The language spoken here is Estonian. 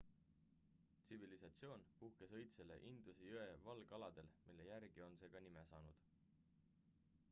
tsivilisatsioon puhkes õitsele induse jõe valgaladel mille järgi on see ka nime saanud